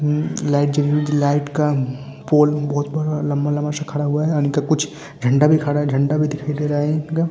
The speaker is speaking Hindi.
लाइट जल रही है लाइट का पोल बहुत बड़ा लंबा-लंबा सा खड़ा हुआ है यानि कि कुछ झंडा भी खड़ा है झंडा भी दिखाई दे रहा है इनका।